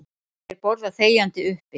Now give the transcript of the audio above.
Þeir borða þegjandi uppi.